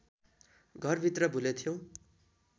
घरभित्र भुलेथ्यौं